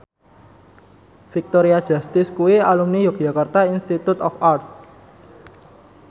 Victoria Justice kuwi alumni Yogyakarta Institute of Art